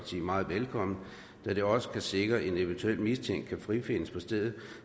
side meget velkommen da det også kan sikre at en eventuelt mistænkt kan frifindes på stedet